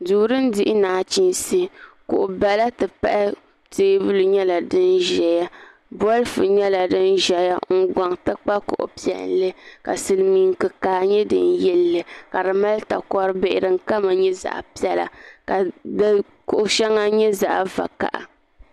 Duu dini dihi nachinsi kuɣu bala ti pahi tɛɛbuli nyɛla sini zaya bolifu nyɛla dini zɛya n gɔŋ ti kpa kuɣu piɛlli ka Silimiinsi kikaa nyɛ dini yili li ka di mali takoro bihi dini kama nyɛ zaɣi piɛla ka di kuɣu shɛŋa nyɛ zaɣi vakaha.